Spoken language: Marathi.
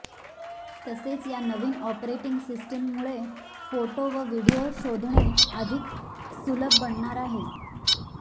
तसेच या नवीन ऑपरेटिंग सिस्टीममुळे फोटो व व्हीडिओ शोधणे अधिक सुलभ बनणार आहे